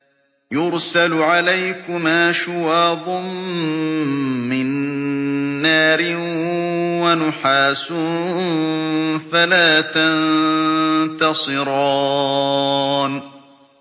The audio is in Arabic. يُرْسَلُ عَلَيْكُمَا شُوَاظٌ مِّن نَّارٍ وَنُحَاسٌ فَلَا تَنتَصِرَانِ